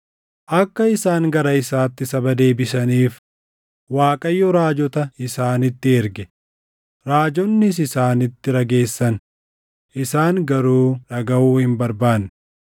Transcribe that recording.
Akka isaan gara isaatti saba deebisaniif Waaqayyo raajota isaanitti erge; raajonnis isaanitti rageessan; isaan garuu dhagaʼuu hin barbaanne.